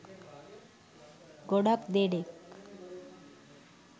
ගොඩක් දෙනෙක්